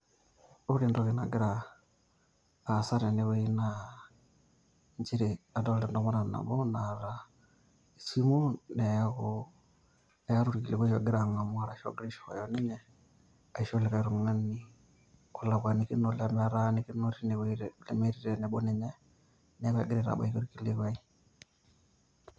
ore entoki nagira aasa tene wueji naa adolta entomononi nabo, naata esimu ,neeku eeta orkilikuai ogira ang'amu ashu ogira aishooyo ninye, aisho likae tung'ani olakuanikinore, lemetaanikino teine wueji lemetii tenebo ninye, neeku egira aitbaki teine wueji ilo kilikuai.